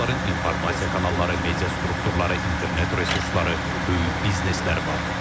Onların informasiya kanalları, media strukturları, internet resursları, böyük biznesləri var.